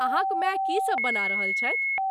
अहाँक माय की सब बना रहल छथि?